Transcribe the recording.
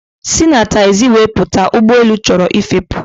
Si na taxiway pụta! ụgbọelu chọrọ ịfepụ